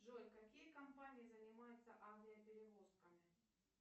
джой какие компании занимаются авиаперевозками